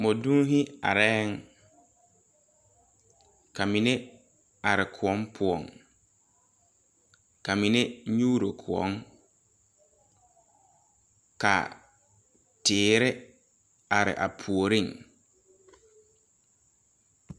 mɔdonne la are kyɛ ka a mine are kuɔ pʋɔ a nyuuro a kuɔ. Tiire are la a puoreŋ